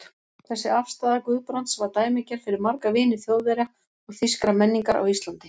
Þessi afstaða Guðbrands var dæmigerð fyrir marga vini Þjóðverja og þýskrar menningar á Íslandi.